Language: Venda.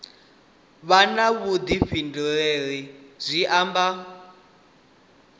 vha na vhuḓifhinduleli zwi amba